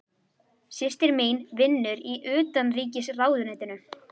Systir mín vinnur í Utanríkisráðuneytinu.